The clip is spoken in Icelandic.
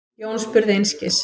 Jón spurði einskis.